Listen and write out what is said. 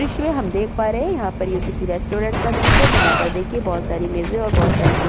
इसमे हम देख पा रहे हैं। यहां पर किसी रेस्टोरेंट क दृश्य है। जहां पर देखिए बोहोत सारी मेजे और बोहोत सारी कुर्सि --